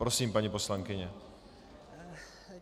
Prosím, paní poslankyně.